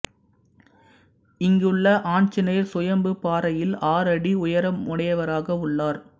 இங்குள்ள ஆஞ்சநேயர் சுயம்பு பாறையில் ஆறு அடி உயரமுடையவராக உள்ளார்